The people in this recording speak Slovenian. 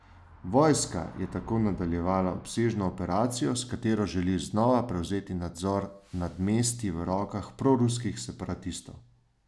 Vojska je tako nadaljevala obsežno operacijo, s katero želi znova prevzeti nadzor nad mesti v rokah proruskih separatistov.